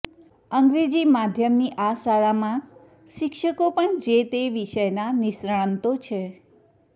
અંગ્રેજી માધ્યમની આ શાળામાં શિક્ષકો પણ જે તે વિષયના નિષ્ણાંતો છે